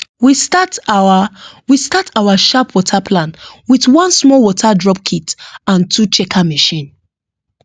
we start our we start our sharp water plan with one small water drop kit and two checker machine